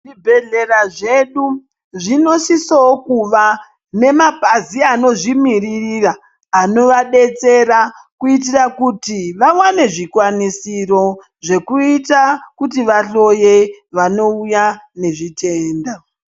Zvibhedhlera zvedu zvinosisawo kuva nemabhazi anozvimiririra anovadetsera kuitira kuti vawane zvikwanisiro zvekuita kuti vahloye vanouya nezvitenda.